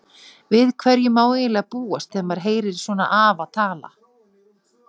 Við hverju má eiginlega búast þegar maður heyrir svona afa tala.